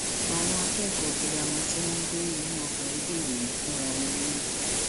àwọn akẹkọọ girama tí wọn ń gbé inú ọgbà iléèwé fúnra wọn lóyún